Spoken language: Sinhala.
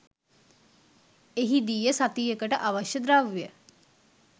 එහිදීය සතියකට අවශ්‍ය ද්‍රව්‍ය